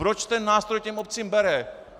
Proč ten nástroj těm obcím bere?